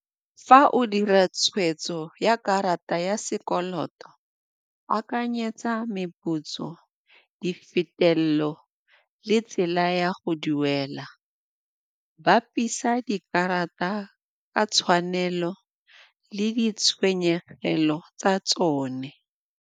Fa o dira tshweetso ya karata ya sekoloto, akanyetsa meputso, di fetelelo le tsela ya go duela. Bapisa dikarata ka tshwanelo le di tshenyegelo tsa tsone.